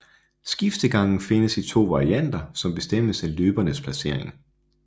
Skiftegangen findes i to varianter som bestemmes af løbernes placering